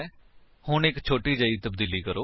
ਹੁਣ ਇੱਕ ਛੋਟੀ ਜਹੀ ਤਬਦੀਲੀ ਕਰੋ